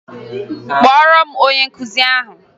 Kpọọrọ m onye nkụzi ahụ!